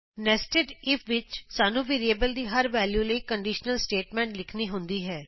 nested if ਵਿਚ ਸਾਨੂੰ variable ਦੀ ਹਰ ਵੈਲਯੂ ਲਈ ਕੰਡੀਸ਼ਨਲ ਸਟੇਟਮੈਂਟ ਲਿਖਣੀ ਹੁੰਦੀ ਹੈ